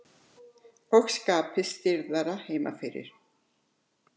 Og skapið stirðara heima fyrir.